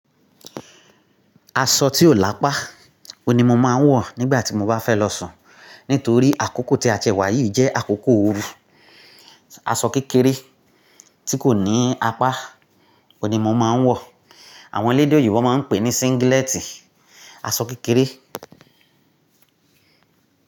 Aṣọ tí ò lápá, òní mo máa ń wọ̀ nígbà tí mo bá fẹ́ lọ sùn. Nítorí àkókò tí a ti wà yìí jẹ́ àkókò oru. Aṣọ kékeré tí kò ní apá, òní mo máa ń wọ̀. Àwọn elédè oyìnbó máa ń pè é ní singílẹ́tì. Aṣọ kékeré.